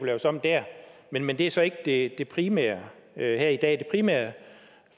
laves om dér men men det er så ikke det det primære her i dag det primære